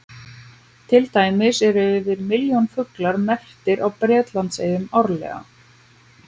Til dæmis eru yfir milljón fuglar merktir á Bretlandseyjum árlega.